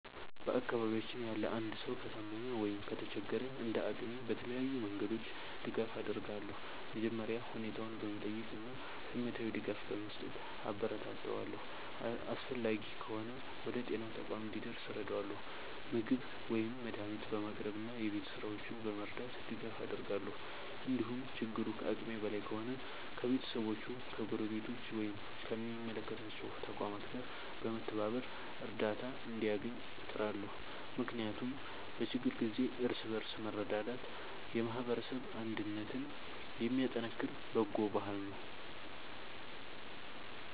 በአካባቢያችን ያለ አንድ ሰው ከታመመ ወይም ከተቸገረ፣ እንደ አቅሜ በተለያዩ መንገዶች ድጋፍ አደርጋለሁ። መጀመሪያ ሁኔታውን በመጠየቅ እና ስሜታዊ ድጋፍ በመስጠት አበረታታዋለሁ። አስፈላጊ ከሆነ ወደ ጤና ተቋም እንዲደርስ እረዳለሁ፣ ምግብ ወይም መድኃኒት በማቅረብ እና የቤት ሥራዎቹን በመርዳት ድጋፍ አደርጋለሁ። እንዲሁም ችግሩ ከአቅሜ በላይ ከሆነ ከቤተሰቦቹ፣ ከጎረቤቶች ወይም ከሚመለከታቸው ተቋማት ጋር በመተባበር እርዳታ እንዲያገኝ እጥራለሁ። ምክንያቱም በችግር ጊዜ እርስ በርስ መረዳዳት የማህበረሰብ አንድነትን የሚያጠናክር በጎ ባህል ነው።